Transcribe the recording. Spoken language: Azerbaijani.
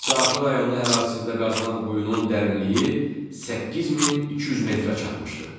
Saatlı rayonu ərazisində qazılan quyunun dərinliyi 8200 metrə çatmışdır.